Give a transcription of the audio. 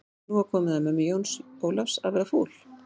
Nú var komið að mömmu Jóns Ólafs að verða fúl.